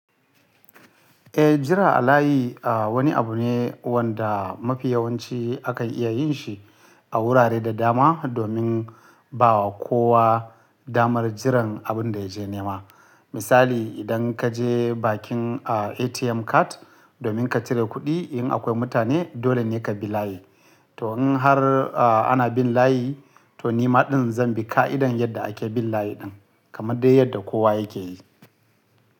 Eh jira a layi wani abu ne wanda mafi yawanci akan iya yin shi a wurare da dama domin bawa kowa damar jiran abin da ya je nema. Misali idan ka je bakin a ATM card domin ka cire kuɗi in akwai mutane dole ne ka bi layi. To in har a ana bin layi to ni maɗin zan bi ƙa'idan yadda ake bin layi ɗin kamar dai yadda kowa yake yi.